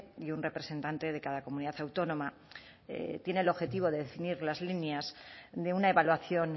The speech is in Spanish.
y un representante de cada comunidad autónoma tiene el objetivo de definir las líneas de una evaluación